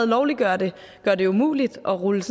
lovliggør det gør det umuligt at rulle